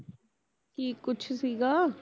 ਕੀ ਕੁਛ ਸੀਗਾ